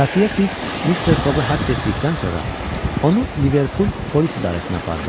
Xəfiyyə Fiks Mister Foqu həbs etdikdən sonra onu Liverpul polis idarəsinə apardı.